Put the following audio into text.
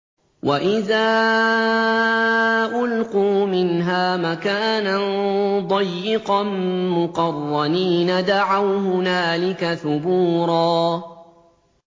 وَإِذَا أُلْقُوا مِنْهَا مَكَانًا ضَيِّقًا مُّقَرَّنِينَ دَعَوْا هُنَالِكَ ثُبُورًا